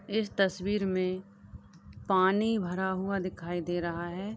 इस तस्वीर में पानी भरा हुआ दिखाई दे रहा है।